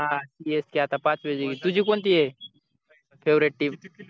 हा csk आता पाच वेळा जिंकली तुझी कोणतीये favorite team